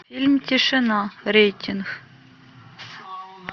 фильм тишина рейтинг